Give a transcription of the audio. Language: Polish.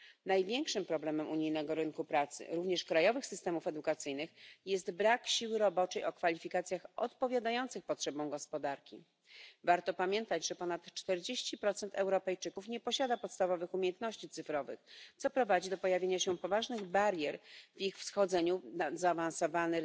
Największym problemem unijnego rynku pracy również krajowych systemów edukacyjnych jest brak siły roboczej o kwalifikacjach odpowiadających potrzebom gospodarki. Warto pamiętać, że ponad 40 Europejczyków nie posiada podstawowych umiejętności cyfrowych, co prowadzi do pojawienia się poważnych barier w ich wchodzeniu na zaawansowany